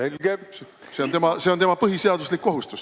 See on tema põhiseaduslik kohustus.